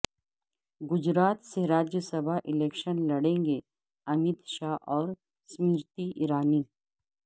گجرات سے راجیہ سبھا الیکشن لڑیں گے امت شاہ اور سیمرتی ایرانی